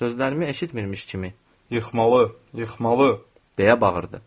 Sözlərimi eşitmirmiş kimi yıxmalı, yıxmalı, deyə bağırdı.